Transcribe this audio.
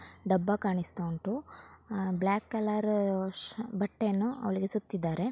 ಡಬ್ಬ ಕಾಣಿಸ್ತಾ ಉಂಟು ಆ ಬ್ಲಾಕ್ ಕಲರ್ ಬಟ್ಟೆಯನ್ನು ಅವಳಿಗೆ ಸುತ್ತಿದ್ದಾರೆ.